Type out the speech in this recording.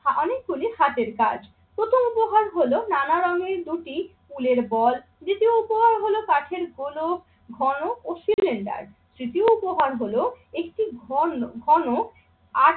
অনেকগুলি হাতের কাজ। প্রথম উপহার হল নানা রঙের দুটি ফুলের বল, তৃতীয় উপহার হল কাঠের গোলক, ঘনক ও সিলিন্ডার। তৃতীয় উপহার হলো একটি ঘন~ ঘন